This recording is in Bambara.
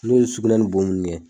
N'u ye sugunɛ ni bo nunnu kɛ